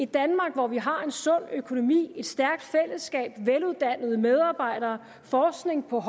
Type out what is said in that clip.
danmark hvor vi har en sund økonomi et stærkt fællesskab veluddannede medarbejdere forskning på